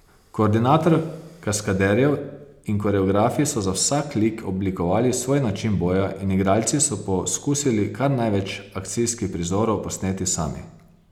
Koordinator kaskaderjev in koreografi so za vsak lik oblikovali svoj način boja in igralci so poskusili kar največ akcijskih prizorov posneti sami.